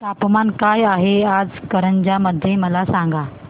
तापमान काय आहे आज कारंजा मध्ये मला सांगा